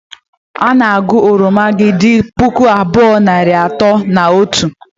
Ị na-agụ oromo gị dị puku abụọ, nari atọ na otu?.